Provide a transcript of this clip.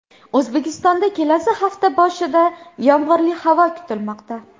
O‘zbekistonda kelasi hafta boshida yomg‘irli havo kutilmoqda.